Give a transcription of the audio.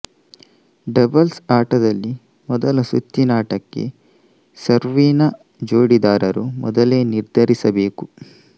doubles ಆಟದಲ್ಲಿ ಮೊದಲ ಸುತ್ತಿನಾಟಕ್ಕೆ ಸರ್ವೀನ ಜೋಡಿದಾರರು ಮೊದಲೆ ನಿರ್ಧರಿಸಬೇಕು